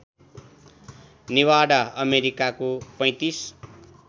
निभाडा अमेरिकाको ३५